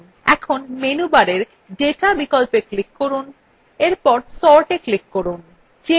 এখন menu bar data বিকল্পে click করে sortএ click করুন